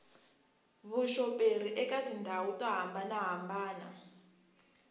vuxoperi eka tindhawu to hambanahambana